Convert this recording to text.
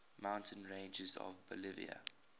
mountain ranges of bolivia